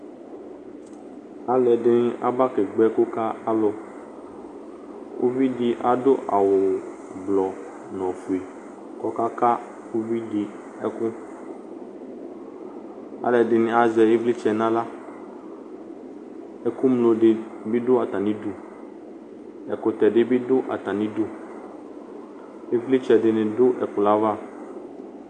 Alʋɛdɩnɩ abakegbǝ ɛkʋ ka alʋ Uvi adʋ awʋblɔ nʋ ofue kʋ ɔkaka uvi dɩ ɛkʋ Alʋɛdɩnɩ azɛ ɩvlɩtsɛ nʋ aɣla Ɛkʋŋlo dɩ bɩ dʋ atamɩdu Ɛkʋtɛ dɩ bɩ dʋ atamɩdu Ɩvlɩtsɛ dɩnɩ dʋ ɛkplɔ yɛ ava